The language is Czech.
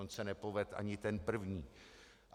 On se nepovedl ani ten první.